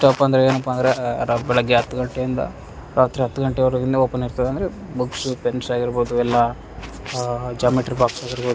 ತಪ್ ಅಂದ್ರೆ ಏನಪ್ಪಾ ಅಂದ್ರೆ ಆಆ ರ ಬೆಳಿಗ್ಗೆ ಹತ್ತ್ ಗಂಟೆಯಿಂದ ರಾತ್ರಿ ಹತ್ತ್ ಗಂಟೆವರೆಗೆನು ಓಪನ್ ಇರ್ತದೆ ಅಂದ್ರೆ ಬುಕ್ಸ್ ಪೆನ್ಸಾಗಿರ್ಬೋದು ಎಲ್ಲ ಆಆ ಜಾಮಿಟ್ರಿ ಬಾಕ್ಸ್ ಆಗಿರ್ಬೋ --